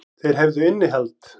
Þeir hefðu innihald.